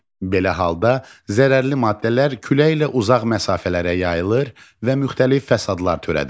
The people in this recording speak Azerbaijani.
Belə halda zərərli maddələr küləklə uzaq məsafələrə yayılır və müxtəlif fəsadlar törədir.